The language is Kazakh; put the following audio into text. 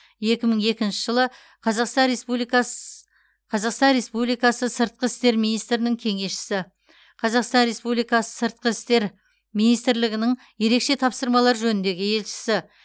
екі мың екінші жылы қазақстан республикас қазақстан республикасы сыртқы істер министрінің кеңесшісі қазақстан республикасы сыртқы істер министрлігінің ерекше тапсырмалар жөніндегі елшісі